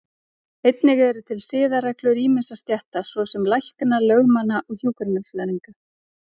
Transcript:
Einnig eru til siðareglur ýmissa stétta, svo sem lækna, lögmanna og hjúkrunarfræðinga.